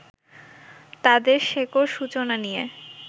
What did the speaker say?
তাঁদের শেকড় সূচনা নিয়ে